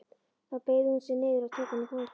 Þá beygði hún sig niður og tók hann í fangið.